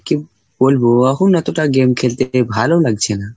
কি বলবো অহন এতটা game খেলতে ভালো লাগছে না।